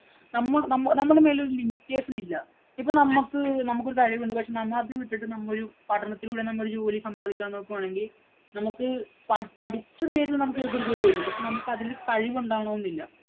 നമ്മനമ്മുടെ മേല് ഒരു limitation ഇല്ല. ഇപ്പം നമ്മക്ക് നമ്മക്ക് ഒരു കഴിവ് ഉണ്ട്. പക്ഷേ നമ്മ അത് വിട്ടിട്ടു നമ്മ ഒരു പഠനത്തിലൂടെ നമ്മൾ ഒരു ജോലി സമ്പാദിക്കാന്‍ നോക്കുകയാണെങ്കില്‍ നമുക്ക് പഠിച്ചു നേടിയാ നമുക്ക് ചിലപ്പോ ഒരു ജോലി കിട്ടും. പക്ഷേ നമുക്ക് അതിനു ഒരു കഴിവ് ഉണ്ടാകണം എന്നില്ല.